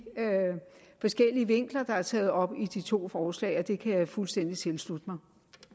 forskellige vinkler der er taget op i de to forslag og det kan jeg fuldstændig tilslutte mig